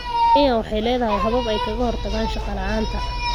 Kenya waxay leedahay habab ay kaga hortagto shaqo la'aanta.